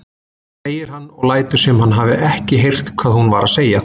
segir hann og lætur sem hann hafi ekki heyrt hvað hún var að segja.